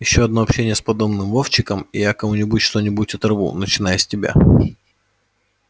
ещё одно общение с подобным вовчиком и я кому-нибудь что-нибудь оторву начиная с тебя